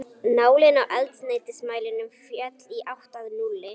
Nálin á eldsneytismælinum féll í átt að núlli.